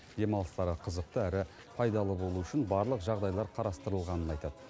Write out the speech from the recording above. демалыстары қызықты әрі пайдалы болуы үшін барлық жағдайлар қарастырылғанын айтады